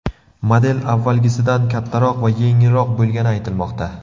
Model avvalgisidan kattaroq va yengilroq bo‘lgani aytilmoqda.